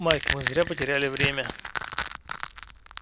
майк мы зря потеряли время